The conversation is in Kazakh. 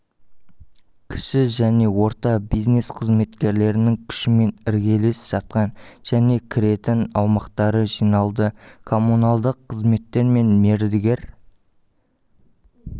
кіші және орта бизнес қызметкерлерінің күшімен іргелес жатқан және кіретін аумақтары жиналды коммуналдық қызметтер мен мердігер